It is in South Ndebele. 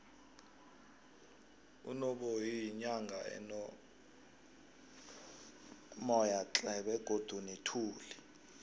udnoboyi yinyanga enomoyatle begodu nethuli